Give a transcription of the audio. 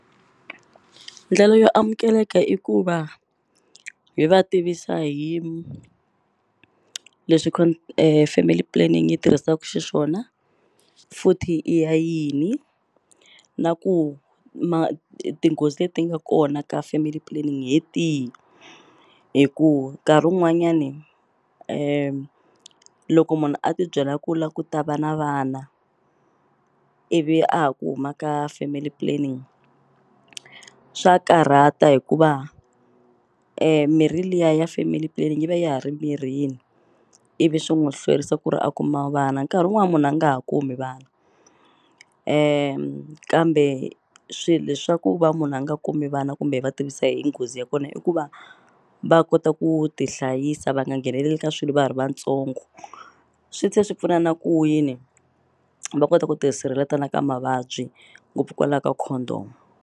Ndlela yo amukeleka i ku va hi va tivisa hi leswi family planning yi tirhisaku xiswona futhi i ya yini na ku tinghozi leti nga kona ka family planning hi tihi hi ku nkarhi wun'wanyani loko munhu a ti byela ku la ku ta va na vana ivi a ha ku huma ka family planning swa karhata hikuva mirhi liya ya family planning yi va ya ha ri mirhini ivi swi n'wu hlwerisa ku ri a kuma vana nkarhi wun'wani munhu a nga ha kumi vana kambe swi leswaku va munhu a nga kumi vana kumbe hi va tivisa hi nghozi ya kona i ku va va kota ku ti hlayisa va nga ngheneleli ka swilo va ha ri vatsongo swi tlhe swi pfuna na ku yini va kota ku ti sirheleta na ka mavabyi ngopfu kwala ka condom.